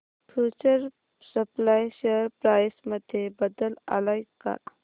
future supply share price मध्ये बदल आलाय का